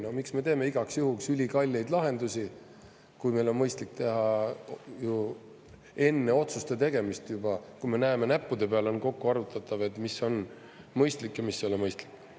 No miks me teeme igaks juhuks ülikalleid lahendusi, kui meil on mõistlik teha enne otsuste tegemist juba, kui me näeme, näppude peal on kokku arvutatav, mis on mõistlik ja mis ei ole mõistlik?